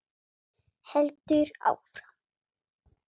Heldur áfram: